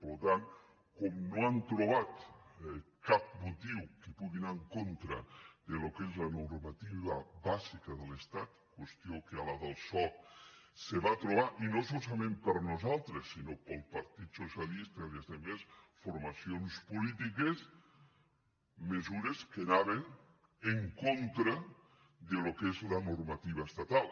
per tant com no hem trobat cap motiu que pugui anar en contra del que és la normativa bàsica de l’estat qüestió en què a la del soc se va trobar i no solament per nosaltres sinó pel partit socialista i altres formacions polítiques mesures que anaven en contra del que és la normativa estatal